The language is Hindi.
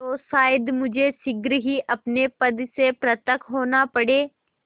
तो शायद मुझे शीघ्र ही अपने पद से पृथक होना पड़े